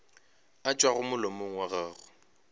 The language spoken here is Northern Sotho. a tšwago molomong wa gago